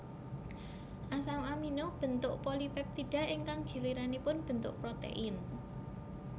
Asam amino béntuk polipéptida ingkang giliranipun bentuk protein